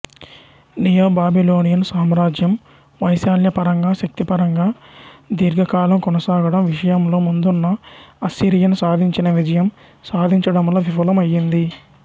neo Babylonian సామ్రాజ్యం వైశాల్యపరంగా శక్తిపరంగా దిఒర్ఘకాలం కొనసాగడం విషయంలో ముందున్న అస్సిరియన్ సాధించిన విజయం సాధించడంలో విఫలం అయింది